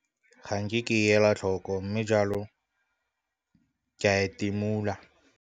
Ga nke ke ela tlhoko, mme jalo ke a e timola.